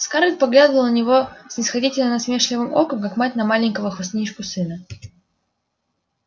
скарлетт поглядывала на него снисходительно-насмешливым оком как мать на маленького хвастунишку-сына